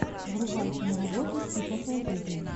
врубай киноработу типа фэнтези